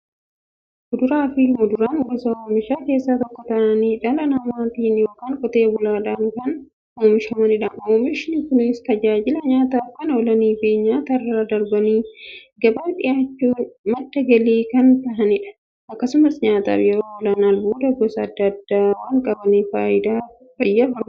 Kuduraafi muduraan gosa oomishaa keessaa tokko ta'anii, dhala namaatin yookiin Qotee bulaadhan kan oomishamaniidha. Oomishni Kunis, tajaajila nyaataf kan oolaniifi nyaatarra darbanii gabaaf dhiyaachuun madda galii kan kennaniidha. Akkasumas nyaataf yeroo oolan, albuuda gosa adda addaa waan qabaniif, fayyaaf barbaachisoodha.